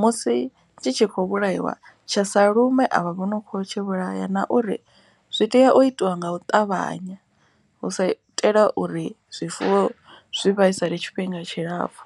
musi tshi tshi khou vhulaiwa tsha sa lumi avha vho no kho tshi vhulaya. Na uri zwi tea u itiwa nga u ṱavhanya hu sa itela uri zwifuwo zwi vhaisale tshifhinga tshilapfhu.